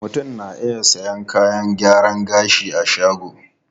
Mutum na iya sayan kayan gyaran gashi a shagon.